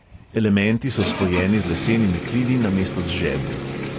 Elementi so spojeni z lesenimi klini namesto z žeblji.